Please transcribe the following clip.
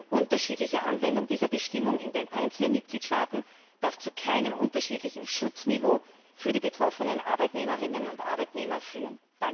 Eine unterschiedliche Anwendung dieser Bestimmung in den einzelnen Mitgliedstaaten darf zu keinem unterschiedlichen Schutzniveau für die betroffenen Arbeitnehmerinnen und Arbeitnehmer führen.